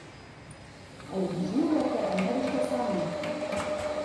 Ali doživljate ameriške sanje?